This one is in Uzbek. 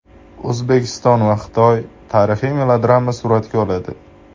O‘zbekiston va Xitoy tarixiy melodrama suratga oladi.